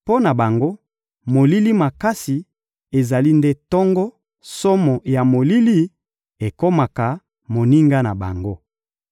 Mpo na bango, molili makasi ezali nde tongo, somo ya molili ekomaka moninga na bango.